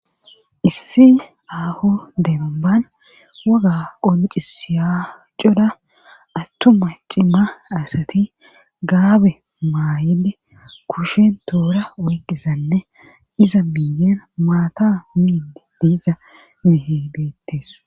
Issi aho demban woga qolicis yaacoda attuma cima asati gaabe maayede kushen toora weqisanne iza miyen maata miinde diiza mihebeettees